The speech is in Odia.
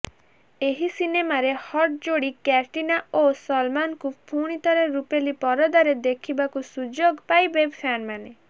ଏହି ସିନେମାରେ ହଟ୍ ଯୋଡ଼ି କ୍ୟାଟ୍ରିନା ଓ ସଲମାନଙ୍କୁ ପୁଣିଥରେ ରୂପେଲି ପରଦାରେ ଦେଖିବାକୁ ସୁଯୋଗ ପାଇବେ ଫ୍ୟାନମାନେ